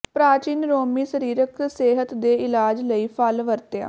ਪ੍ਰਾਚੀਨ ਰੋਮੀ ਸਰੀਰਕ ਸਿਹਤ ਦੇ ਇਲਾਜ ਲਈ ਫਲ ਵਰਤਿਆ